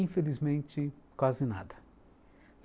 Infelizmente, quase nada.